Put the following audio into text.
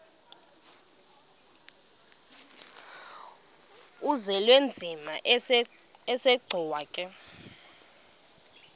uzwelinzima asegcuwa ke